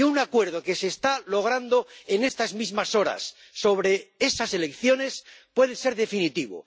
Y un acuerdo que se está logrando en estas mismas horas sobre esas elecciones puede ser definitivo.